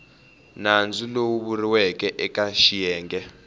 nandzu lowu vuriweke eke xiyenge